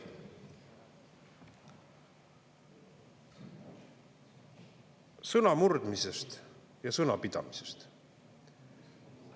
Sõnamurdmisest ja sõnapidamisest.